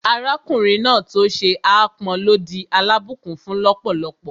Arákùnrin náà tó ṣe ápọn ló di alábùnkún-fún lọ́pọ̀lọ́pọ̀